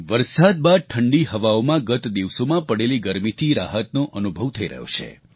વરસાદ બાદ ઠંડી હવાઓમાં ગત દિવસોમાં પડેલી ગરમીથી રાહતનો અનુભવ થઈ રહ્યો છે